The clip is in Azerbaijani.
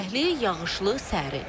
Küləkli, yağışlı, sərin.